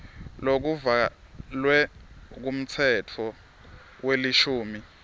lokuvalwe ngumtsetfo welishumi